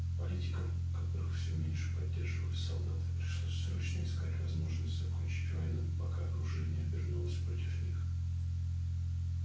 политикам которых всё меньше поддерживали солдаты пришлось срочно искать возможность закончить войну пока оружие не обернулось против них